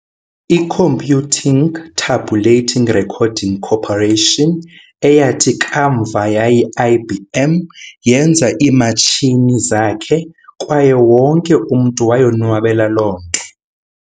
I-Computing Tabulating Recording Corporation, eyathi kamva yayi-IBM, yenza ii-matshini zakhe, kwaye wonke umntu wayonwabela loo nto.